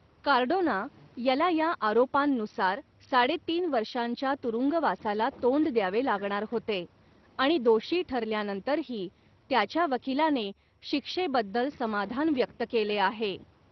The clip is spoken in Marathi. कार्डोना याला या आरोपांनुसार साडेतीन वर्षांच्या तुरुंगवासाला तोंड द्यावे लागणार होते, आणि दोषी ठरल्यानंतरही त्याच्या वकिलाने शिक्षेबद्दल समाधान व्यक्त केले आहे.